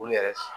Olu yɛrɛ